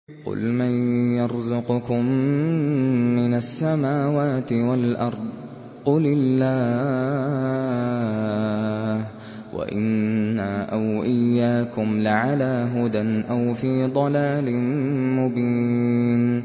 ۞ قُلْ مَن يَرْزُقُكُم مِّنَ السَّمَاوَاتِ وَالْأَرْضِ ۖ قُلِ اللَّهُ ۖ وَإِنَّا أَوْ إِيَّاكُمْ لَعَلَىٰ هُدًى أَوْ فِي ضَلَالٍ مُّبِينٍ